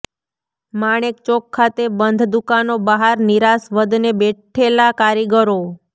માણેકચોક ખાતે બંધ દુકાનો બહાર નિરાશ વદને બેઠેલા કારીગરો